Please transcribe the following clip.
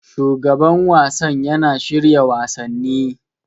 Shugaban wasan yana shirya wasanni.